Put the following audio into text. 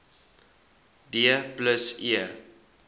d plus e